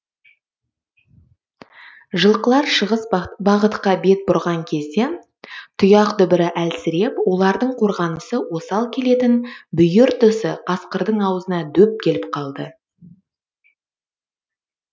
жылқылар шығыс бағытқа бет бұрған кезде тұяқ дүбірі әлсіреп олардың қорғанысы осал келетін бүйір тұсы қасқырдың ауызына дөп келіп қалды